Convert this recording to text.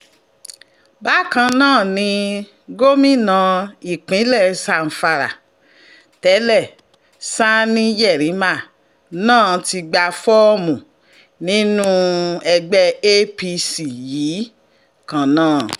bákan náà ni gómìnà ìpínlẹ̀ zamfara tẹ́lẹ̀ sanni yerima náà ti gba fọ́ọ̀mù nínú ẹgbẹ́ apc yìí kan náà